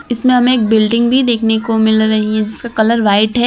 इसमें हमे एक बिल्डिंग भी देखने को मिल रही है जिसका कलर व्हाइट है।